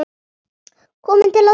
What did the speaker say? Komin til að vera?